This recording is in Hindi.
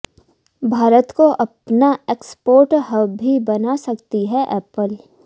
भारत को अपना एक्सपोर्ट हब भी बना सकती है एप्पल